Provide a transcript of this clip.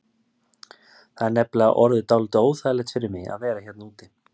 Það er nefnilega orðið dálítið óþægilegt fyrir mig að vera hérna úti.